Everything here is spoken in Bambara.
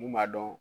Mun b'a dɔn